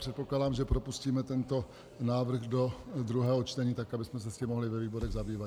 Předpokládám, že propustíme tento návrh do druhého čtení, tak abychom se s tím mohli ve výborech zabývat.